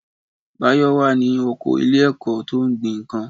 Báyọ̀ wà ní oko ilé ẹ̀kọ́ tó ń gbin nǹkan